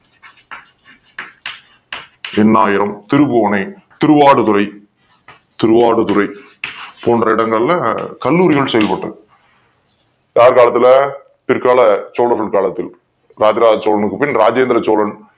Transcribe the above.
எண்ணாயிரம் திருபுவனை திருவாரூரை திருவாடுதுறை போன்ற இடங்கள்ல கல்லூரிகள் செயல்பட்டன யார் காலத்துல பிற்கால சோழர்கள் காலத்துல ராஜராஜ சோழருக்கு பின் ராஜேந்திர சோழருக்கு